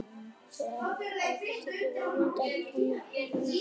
Þegar hann kom í apótekið var Lund ekki frammi, heldur inni hjá sér.